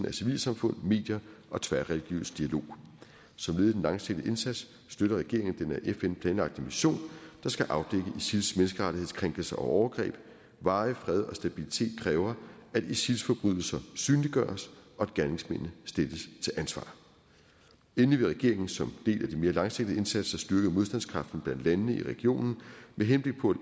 af civilsamfund medier og tværreligiøs dialog som led i den langsigtede indsats støtter regeringen den af fn planlagte mission der skal afdække isils menneskerettighedskrænkelser og overgreb varig fred og stabilitet kræver at isils forbrydelser synliggøres og at gerningsmændene stilles til ansvar endelig vil regeringen som del af de mere langsigtede indsatser styrke modstandskraften blandt landene i regionen med henblik på